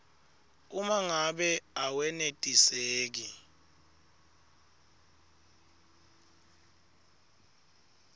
uma ngabe awenetiseki